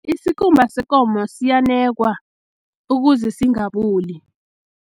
Isikhumba sekomo siyanekwa, ukuze singaboli.